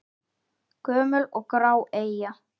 Gömul og grá eyja?